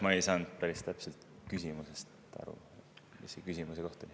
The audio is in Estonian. Ma ei saanud päris täpselt aru, mis see küsimuse koht oli.